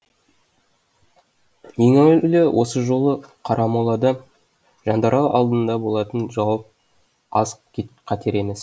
ең әуелі осы жолы қарамолада жандарал алдында болатын жауап аз қатер емес